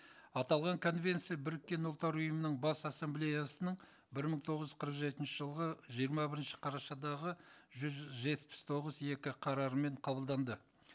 аталған конвенция біріккен ұлттар ұйымының бас ассамблеясының бір мың тоғыз жүз қырық жетінші жылғы жиырма бірінші қарашадағы жүз жетпіс тоғыз екі қарармен қабылданды